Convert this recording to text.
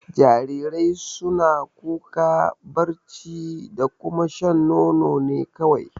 Jarirai suna kuka, barci da kuma shan nono ne kawai.